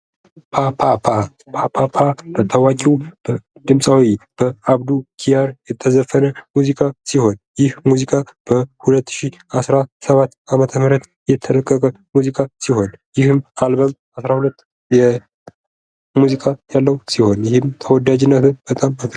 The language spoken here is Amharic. ፓ ፓ ፓ ፓ በታዋቂው ድምፃዊ በአብዱ ኪያር የተዘፈነ ሙዚቃ ሲሆን ይህ ሙዚቃ በ 2017 ዓ.ም የተለቀቀ ሙዚቃ ሲሆኑይህም አልበም አስራ ሁለት የሙዚቃ ያለው ሲሆን ይህም ተወዳጅነትን በጣም አጠርፏል ::